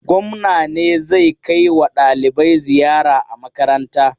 Gwamna ne zai kai wa ɗalibai ziyara a makaranta.